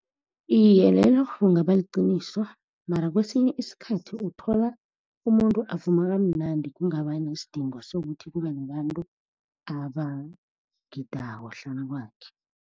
Iye, lelo kungaba liqiniso, mara kwesinye isikhathi uthola umuntu avuma kamnandi, kungaba nesidingo sokuthi kube nabantu abagidako hlanu kwakhe.